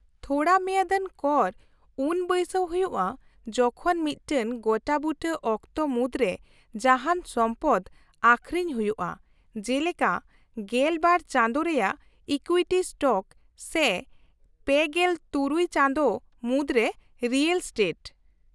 -ᱛᱷᱚᱲᱟ ᱢᱮᱭᱟᱫᱟᱱ ᱠᱚᱨ ᱩᱱ ᱵᱟᱹᱭᱥᱟᱹᱣ ᱦᱩᱭᱩᱜᱼᱟ ᱡᱚᱠᱷᱚᱱ ᱢᱤᱫᱴᱟᱝ ᱜᱚᱴᱟᱵᱩᱴᱟᱹ ᱚᱠᱛᱚ ᱢᱩᱫᱨᱮ ᱡᱟᱦᱟᱱ ᱥᱚᱢᱯᱚᱫ ᱟᱹᱠᱷᱨᱤᱧ ᱦᱩᱭᱩᱜᱼᱟ, ᱡᱮᱞᱮᱠᱟ ᱑᱒ ᱪᱟᱸᱫᱳ ᱨᱮᱭᱟᱜ ᱤᱠᱩᱭᱤᱴᱤ ᱥᱴᱚᱠ ᱥᱮ ᱓᱖ ᱪᱟᱸᱫᱳ ᱢᱩᱫᱨᱮ ᱨᱤᱭᱮᱞ ᱮᱥᱴᱮᱴ ᱾